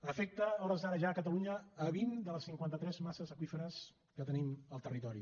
afecta a hores d’ara ja a catalunya vint de les cinquanta tres masses aqüíferes que tenim al territori